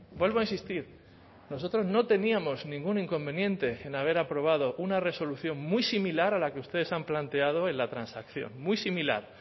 vuelvo a insistir nosotros no teníamos ningún inconveniente en haber aprobado una resolución muy similar a la que ustedes han planteado en la transacción muy similar